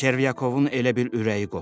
Çervyakovun elə bil ürəyi qopdu.